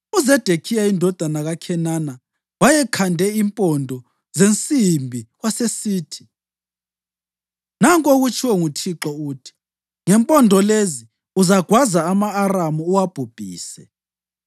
UZedekhiya indodana kaKhenana wayekhande impondo zensimbi, wasesithi, “Nanku okutshiwo nguThixo, uthi: ‘Ngempondo lezi uzagwaza ama-Aramu uwabhubhise.’ ”